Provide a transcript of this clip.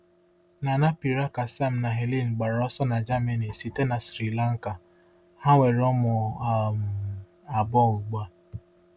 Gnanapirakasam na Helen gbara ọsọ na Germany site na Sri Lanka, ha nwere ụmụ um abụọ ugbu a.